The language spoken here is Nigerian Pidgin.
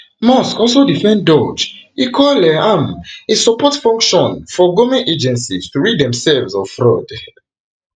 musk also defend doge e call um am a support function for goment agencies to rid themselves of fraud um